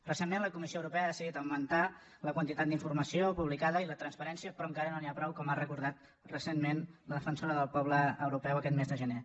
recentment la comissió europea ha decidir augmentar la quantitat d’informació publicada i la transparència però encara no n’hi ha prou com ha recordat recentment la defensora del poble europeu aquest mes de gener